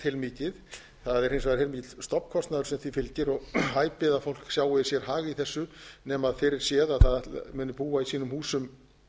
heilmikið það er hins vegar heilmikill stofnkostnaður sem því fylgir og hæpið að fólk sjái sér hag í þessu nema fyrirséð að búa í sínum húsum